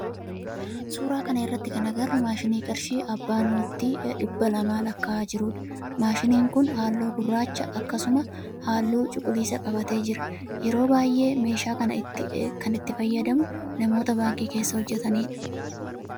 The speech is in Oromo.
Suuraa kana irratti kan agarru maashinii qarshii abbaa noottii dhibba lamaa lakka'aa jirudha. Maashinni kun halluu gurraacha akkasumsa halluu cuqulisa qabatee jira. Yeroo baayyee meeshaa kana kan itti fayyadamu namoota baankii keessa hojjetanidha.